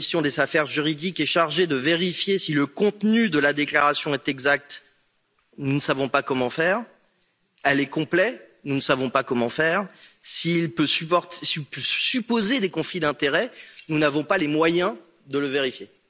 La commission des affaires juridiques est chargée de vérifier si le contenu de la déclaration est exact nous ne savons pas comment faire si elle est complète nous ne savons pas comment faire si on peut supposer des conflits d'intérêts nous n'avons pas les moyens de le vérifier.